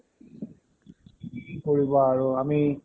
কি কৰিবা আৰু আমি